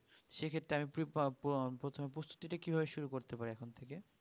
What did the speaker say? সে ক্ষেত্রে আমি প্রথমে প্রস্তুতি টা কি ভাবে শুরু করতে পারি এখন থেকে